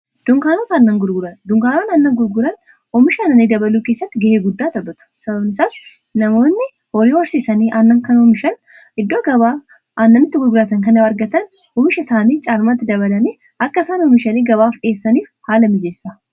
duunkaanoota aanna gurguran oomisha aannanii dabaluu keessatti ga'ee guddaa taphatu sababni isaas namoonni horii horsiisanii aanna kana oomishani iddoo gabaa aannanitti gurguraatan kana argatan oomisha isaanii caalmatti dabalanii akka isaan oomishanii gabaaf dhiyeessaniif haala mijeessa.